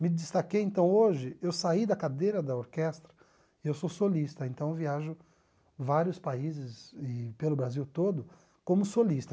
Me destaquei então hoje, eu saí da cadeira da orquestra, eu sou solista, então viajo vários países e pelo Brasil todo como solista.